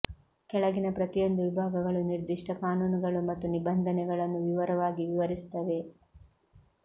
ಕೆಳಗಿನ ಪ್ರತಿಯೊಂದು ವಿಭಾಗಗಳು ನಿರ್ದಿಷ್ಟ ಕಾನೂನುಗಳು ಮತ್ತು ನಿಬಂಧನೆಗಳನ್ನು ವಿವರವಾಗಿ ವಿವರಿಸುತ್ತವೆ